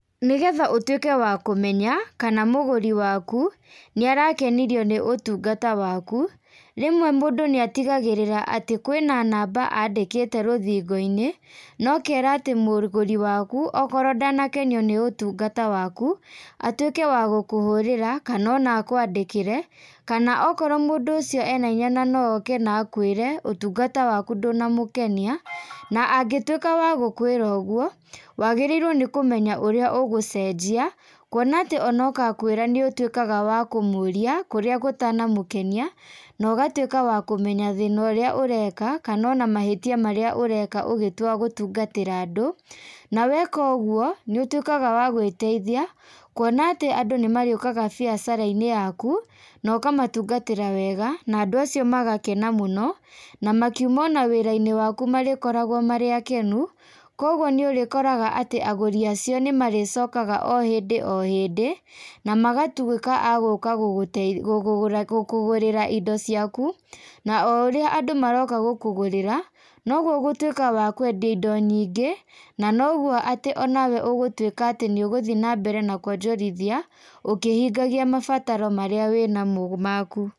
Nĩgetha ũtwĩke wa kũmenya, kana mũgũri waku, nĩarakenirio nĩ ũtungata waku, rĩmwe mũndũ niatigagĩrira atĩ kwĩna namba andĩkĩte rũthingo-ini, na ũkera atĩ mũgũri waku okorwo ndanakenio nĩ ũtungata wakũ, atwike wa gũkũhũrĩra kana ona akwandĩkĩre, kana okorwo mũndũ ũcio ena hinya na nooke na akwĩre, ũtungata waku ndũnamũkenia, na angĩtwika wa gũkwĩra ũgwo, wagĩrĩirwo nĩ kũmenya ũria ũgũceejia, kwona atĩ ona oka akwĩra nĩ ũtwĩkaga wa kũmũũria, kũrĩa gũtanamũkenia, na ũgatwĩka wa kũmenya thĩĩna ũrĩa ũreka, kana ona mahĩtia marĩa ũreka ũgitua gũtungatĩra andũ, na weka ũguo, nĩ ũtwikaga wa gwĩteithia, kũona atĩ andũ nĩmarĩũkaga biacara-ini yaku, na ũkamatungatĩra wega, na andũ acio magakena mũno, na makiuma ona wĩra-ini waku marĩkoragwo marĩ akenu, kwa uguo nĩ ũrĩkoraga atĩ agũũri acio nĩ marĩcokaga o hĩndĩ o hĩndĩ, na magatwiĩka a gũũka gũkũgũrĩra indo ciaku, na o urĩa andũ maroka gũkũgũrĩra, nogwo ũgũtwika wa kwendia indo nyingĩĩ, na nogwo atĩ onawe ũgũtwika atĩ nĩ ũgũthie naambere na kuonjorithia, ũkĩhingagia mabataro marĩa wĩnamo maku.